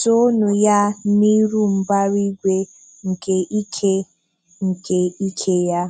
Toonu Ya n'iru mbara igwe nke ike nke ike Ya.